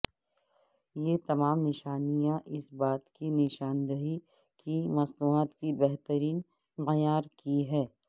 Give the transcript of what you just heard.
یہ تمام نشانیاں اس بات کی نشاندہی کی مصنوعات کی بہترین معیار کی ہے